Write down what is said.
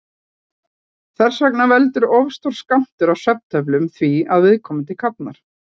Þess vegna veldur of stór skammtur af svefntöflum því að viðkomandi kafnar.